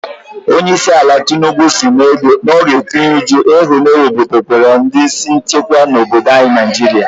Onyeisiala Tinubu si na ọ ga-etinye uchu na ịhụ na-ewebatakwụrụ ndị isi nchekwa n'obodo Naijiria.